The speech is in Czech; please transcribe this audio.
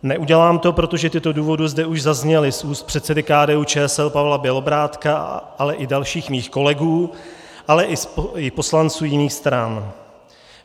Neudělám to, protože tyto důvody zde už zazněly z úst předsedy KDU-ČSL Pavla Bělobrádka, ale i dalších mých kolegů, ale i poslanců jiných stran.